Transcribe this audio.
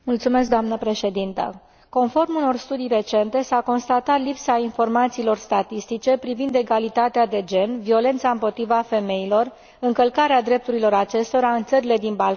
Conform unor studii recente, s a constatat lipsa informațiilor statistice privind egalitatea de gen, violența împotriva femeilor și încălcarea drepturilor acestora în țările din Balcani candidate la aderare.